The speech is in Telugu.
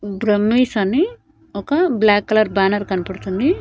బ్రహ్మేశ్ అని ఒక బ్లాక్ కలర్ బ్యానర్ కనపడుతుంది.